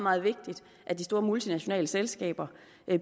meget vigtigt at de store multinationale selskaber